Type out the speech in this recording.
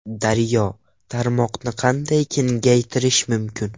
Daryo: Tarmoqni qanday kengaytirish mumkin?